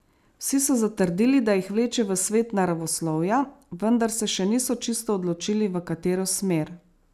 Vsi so zatrdili, da jih vleče v svet naravoslovja, vendar se še niso čisto odločili, v katero smer.